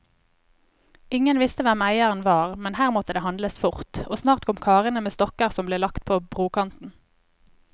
Ingen visste hvem eieren var, men her måtte det handles fort, og snart kom karene med stokker som ble lagt på brokanten.